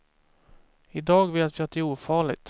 I dag vet vi att det är ofarligt.